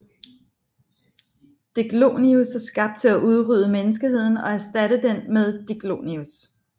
Diclonius er skabt til at udrydde menneskeheden og erstatte den med Diclonius